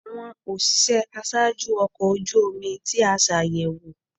Awọn oṣiṣẹ aṣaaju ọkọ oju omi ti a ṣayẹwo